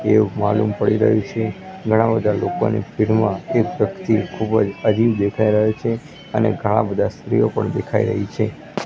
એવુ માલૂમ પડી રહ્યું છે ઘણા બધા લોકોની ભીડમાં એક વ્યક્તિ ખુબજ અજીબ દેખાય રહ્યો છે અને ઘણા બધા સ્ત્રીઓ પણ દેખાય રહી છે.